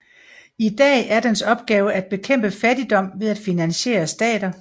I dag er dens opgave at bekæmpe fattigdom ved at finansiere stater